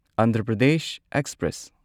Andhra Pradesh express